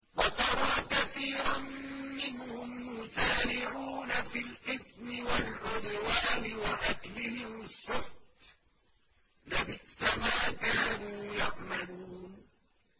وَتَرَىٰ كَثِيرًا مِّنْهُمْ يُسَارِعُونَ فِي الْإِثْمِ وَالْعُدْوَانِ وَأَكْلِهِمُ السُّحْتَ ۚ لَبِئْسَ مَا كَانُوا يَعْمَلُونَ